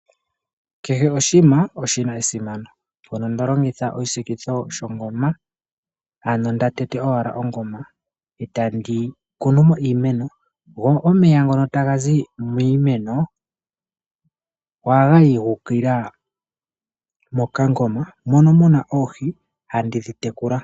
Keshe oshinima oshina esimano uuna tolongitha oshisikilo shongoma, ano nda tete wala ongoma etandi kunu mo iimeno, go omeya ngono tagazi miimeno ohagayi guukilila mokangoma mono muna oohi handidhi tekula.